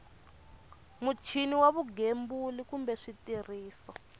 muchini wa vugembuli kumbe switirhiso